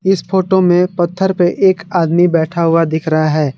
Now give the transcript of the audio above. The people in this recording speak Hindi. इस फोटो में पत्थर पे एक आदमी बैठा हुआ दिख रहा है।